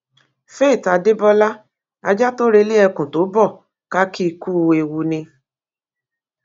faith adébọlá ajá tó relé ẹkùn tó bó ká kì í ku ewu ni